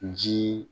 Ji